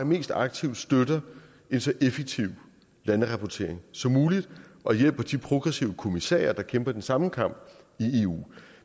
mest aktivt støtter en så effektiv landrapportering som muligt og hjælper de progressive kommissærer der kæmper den samme kamp i eu